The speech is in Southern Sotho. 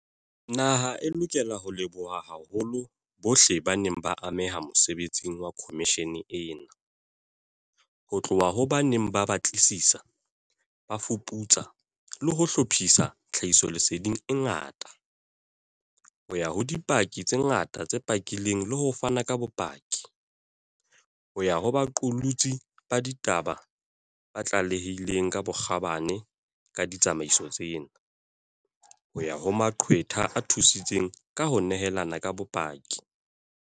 Naha e lokela ho leboha haholo bohle ba neng ba ameha mosebetsing wa khomishene ena, ho tloha ho ba neng ba batlisisa, ba fuputsa le ho hlophisa tlha hisoleseding e ngata, ho ya ho dipaki tse ngata tse pakileng le ho fana ka bopaki, ho ya ho baqolotsi ba ditaba ba tlalehileng ka bokgabane ka ditsamaiso tsena, ho ya ho maqwetha a thusitseng ka ho nehelana ka bopaki.